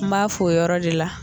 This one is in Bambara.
N m'a fo yɔrɔ de la